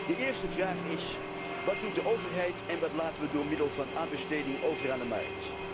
De eerste vraag is wat doet de overheid en wat laten wij door middel van aanbesteding over aan de markt?